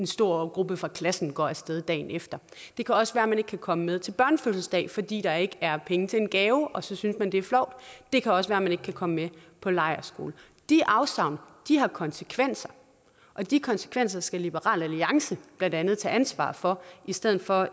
stor gruppe fra klassen går af sted dagen efter det kan også være man ikke kan komme med til børnefødselsdag fordi der ikke er penge til en gave og så synes man det er flovt det kan også være man ikke kan komme med på lejrskole de afsavn har konsekvenser og de konsekvenser skal liberal alliance blandt andet tage ansvar for i stedet for at